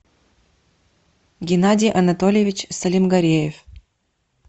геннадий анатольевич салимгареев